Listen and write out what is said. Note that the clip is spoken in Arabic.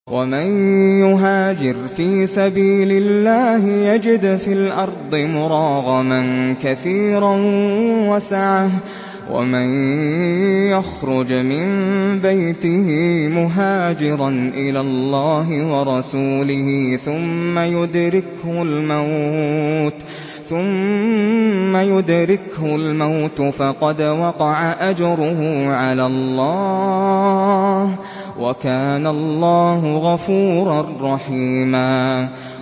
۞ وَمَن يُهَاجِرْ فِي سَبِيلِ اللَّهِ يَجِدْ فِي الْأَرْضِ مُرَاغَمًا كَثِيرًا وَسَعَةً ۚ وَمَن يَخْرُجْ مِن بَيْتِهِ مُهَاجِرًا إِلَى اللَّهِ وَرَسُولِهِ ثُمَّ يُدْرِكْهُ الْمَوْتُ فَقَدْ وَقَعَ أَجْرُهُ عَلَى اللَّهِ ۗ وَكَانَ اللَّهُ غَفُورًا رَّحِيمًا